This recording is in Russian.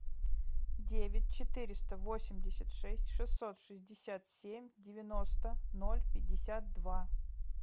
девять четыреста восемьдесят шесть шестьсот шестьдесят семь девяносто ноль пятьдесят два